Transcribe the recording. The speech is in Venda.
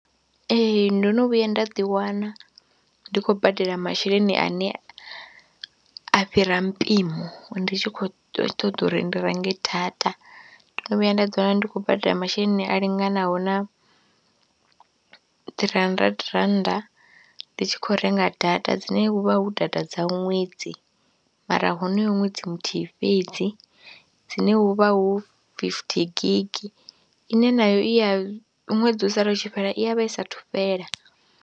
Ee. ndo no vhuya nda ḓiwana ndi khou badela masheleni ane a fhira mpimo ndi tshi khou ṱoḓa uri ndi renge data, ndo no vhuya nda ḓiwana ndi khou badela masheleni a linganaho na three hundred rannda, ndi tshi khou renga data dzine hu vha hu data dza ṅwedzi mara honoyo ṅwedzi muthihi fhedzi dzine hu vha hu fifty gig ine nayo i ya ṅwedzi u sala u tshi fhela i ya vha i saathu fhela.